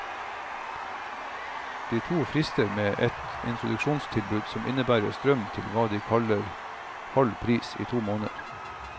De to frister med et introduksjonstilbud som innebærer strøm til hva de kaller halv pris i to måneder.